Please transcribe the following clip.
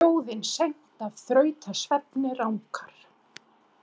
Þjóðin seint af þrautasvefni rankar.